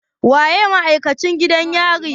Waye ma'aikacin gidan yarin?